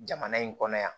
Jamana in kɔnɔ yan